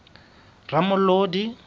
ramolodi